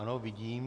Ano, vidím.